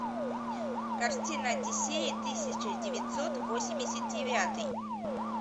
картина одиссея тысяча девятьсот восемьдесят девятый